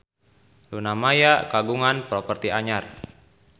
Luna Maya kagungan properti anyar